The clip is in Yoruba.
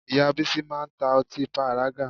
Ìyá Bísí máa ń ta ọtí pàrágà